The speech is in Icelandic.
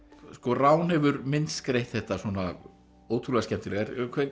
rán hefur myndskreytt þetta svona ótrúlega skemmtilega